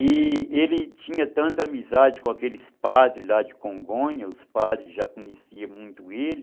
E ele tinha tanta amizade com aqueles padres lá de Congonha, os padres já conheciam muito ele,